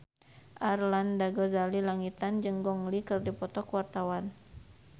Arlanda Ghazali Langitan jeung Gong Li keur dipoto ku wartawan